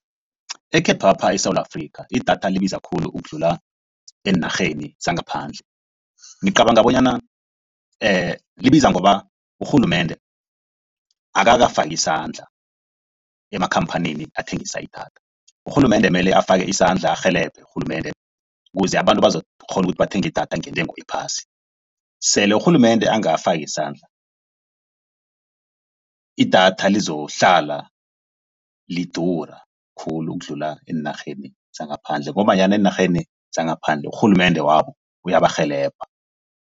Ekhethwapha eSewula Afrika idatha libiza khulu ukudlula eenarheni zangaphandle. Ngicabanga bonyana libiza ngoba urhulumende akakafaki isandla emakhamphanini athengisa idatha. Urhulumende kumele afake isandla arhelebhe urhulumende. Kuze abantu bazokukghona ukuthi bathenge idatha ngentengo ephasi. Sele urhulumende angakafaki isandla, idatha lizokuhlala lidura khulu ukudlula eenarheni zangaphandle ngombanyana eenarheni zangaphandle urhulumende wabo kuyabarhelebha.